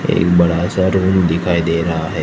एक बड़ा सा रूम दिखाई दे रहा है।